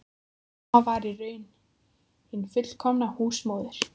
Mamma var í raun hin fullkomna húsmóðir.